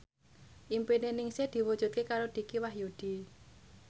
impine Ningsih diwujudke karo Dicky Wahyudi